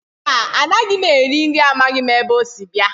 Mba, anaghị m eri nri amaghị m ebe o si bịa